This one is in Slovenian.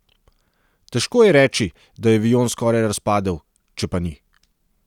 Težko je reči, da je avion skoraj razpadel, če pa ni.